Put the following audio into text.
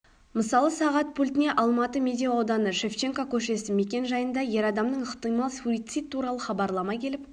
мысалы сағат пультіне алматы медеу ауданы шевченко көшесі мекен-жайында ер адамның ықтимал суицид туралы хабарлама келіп